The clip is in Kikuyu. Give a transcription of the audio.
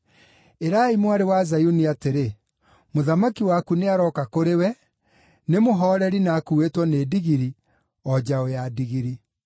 “Ĩrai Mwarĩ wa Zayuni atĩrĩ, ‘Mũthamaki waku nĩarooka kũrĩwe, nĩ mũhooreri na akuuĩtwo nĩ ndigiri, o njaũ ya ndigiri.’ ”